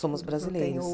Somos brasileiros. Não tem